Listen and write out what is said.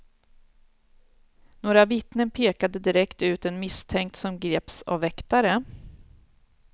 Några vittnen pekade direkt ut en misstänkt som greps av väktare.